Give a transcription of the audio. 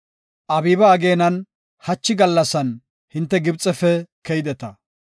Abiiba ageenan, hachi gallasan hinte Gibxefe keydeta.